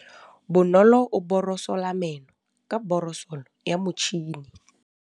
Bonolô o borosola meno ka borosolo ya motšhine.